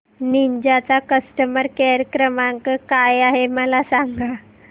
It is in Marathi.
निंजा चा कस्टमर केअर क्रमांक काय आहे मला सांगा